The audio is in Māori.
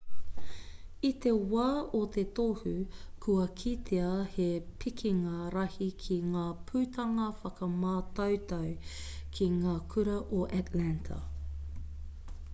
i te wā o te tohu kua kitea he pikinga rahi ki ngā putanga whakamātautau ki ngā kura o atlanta